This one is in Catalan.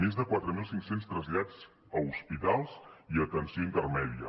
més de quatre mil cinc cents trasllats a hospitals i a atenció intermèdia